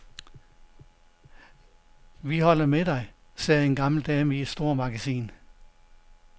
Vi holder med dig, sagde en gammel dame i et stormagasin.